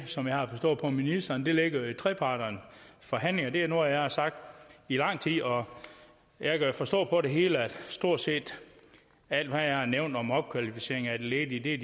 som jeg har forstået ministeren der ligger i trepartsforhandlingerne det er noget jeg har sagt i lang tid og jeg kan forstå på det hele at stort set alt hvad jeg har nævnt om opkvalificering af de ledige